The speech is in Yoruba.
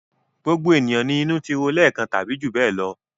Gbogbo ènìyàn ni inú ti ro lẹ́ẹ̀kan tàbí jù bẹ́ẹ̀ lọ.